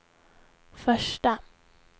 första